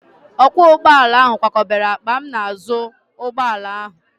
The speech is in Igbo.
Ọkwọ ụgbọala ahụ kwakọbara akpa m n'azụ ụgbọala ahụ.